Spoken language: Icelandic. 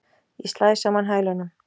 Ég slæ saman hælunum.